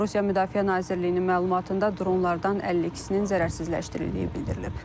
Rusiya Müdafiə Nazirliyinin məlumatında dronlardan 52-sinin zərərsizləşdirildiyi bildirilib.